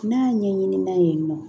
N'a ɲɛɲinna yen nɔ